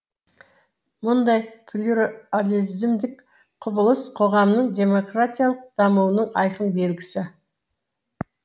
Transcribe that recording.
мұндай плюрализмдік құбылыс қоғамның демократиялық дамуының айқын белгісі